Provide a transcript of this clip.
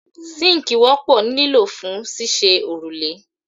Síńkì wọ́pọ̀ ní lílò fún ṣíṣe òrùlé